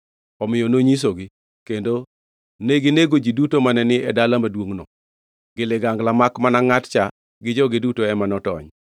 Omiyo nonyisogi, kendo neginego ji duto mane ni e dala maduongʼno gi ligangla makmana ngʼat cha gi joge duto ema notony.